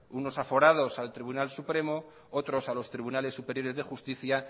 unos aforados al tribunal supremo otros a los tribunales superiores de justicia